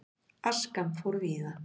Askan fór víða.